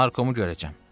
"Narkomu görəcəm."